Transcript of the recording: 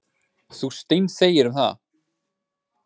Þú steinþegir um það.